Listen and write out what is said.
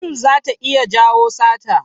Yun zata iya jawo sata.